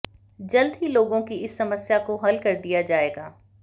जल्द ही लोगों की इस समस्या को हल कर दिया जाएगा